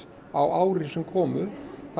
á ári sem komu